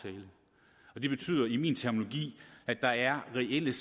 er det betyder i min terminologi at der er reelle